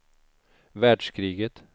världskriget